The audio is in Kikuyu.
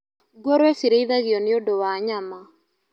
Ngũrũwe cirĩithagio nĩũndũ wa nyama